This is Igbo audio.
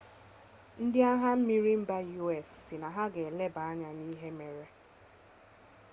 ndị agha mmiri mba us sị na ha na-eleba anya n'ihe mere